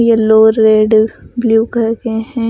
Yellow red blue करते हैं ।